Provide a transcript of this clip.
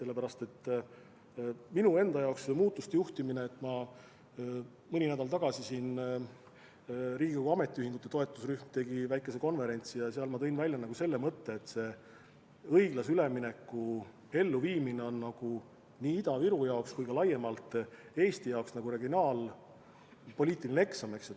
Mis puutub minu enda seisukohalt muudatuste juhtimisse, siis mõni nädal tagasi tegi Riigikogu ametiühingute toetusrühm väikese konverentsi ja seal ma tõin välja mõtte, et õiglase ülemineku elluviimine on nii Ida-Viru jaoks kui ka laiemalt Eesti jaoks nagu regionaalpoliitiline eksam.